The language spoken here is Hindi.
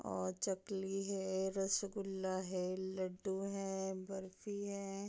और चकली है रसगुल्ला है लड्डू हैं बर्फी है |